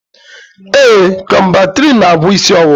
Ee, Kọmbantrịịn n'agwọ isi ọwụwa